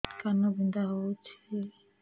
କାନ ବିନ୍ଧା ହଉଛି